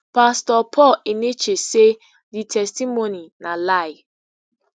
pastor paul enenche say di testimony na lie